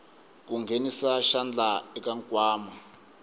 ku nghenisa xandla eka nkwama